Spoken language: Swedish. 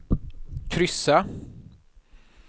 kryssa